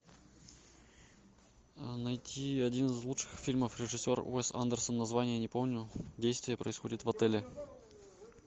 найти один из лучших фильмов режиссер уэс андерсон название не помню действие происходит в отеле